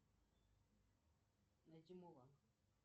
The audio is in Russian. найди мулан